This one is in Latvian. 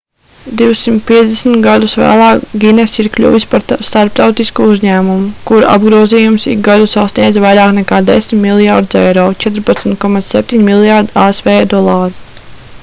250 gadus vēlāk guinness ir kļuvis par starptautisku uzņēmumu kura apgrozījums ik gadu sasniedz vairāk nekā 10 miljardus euro 14,7 mljrd. asv dolāru